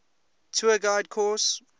tour guide course